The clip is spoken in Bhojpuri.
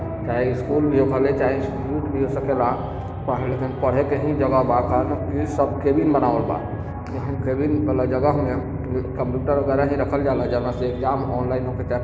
चाहे स्कूल कॉलेज स्कूल भी हो सकेला लेकिन पढ़े के ही जगह बा इ सब केबिन बनावल बा केबिन वाला जगह में कंप्यूटर वगेरा रखल जाला जहाँ से एग्जाम ऑनलाइन होखे--